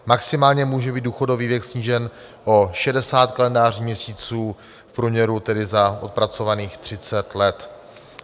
Maximálně může být důchodový věk snížen o 60 kalendářní měsíců, v průměru tedy za odpracovaných 30 let.